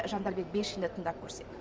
жандарбек бекшинді тыңдап көрсек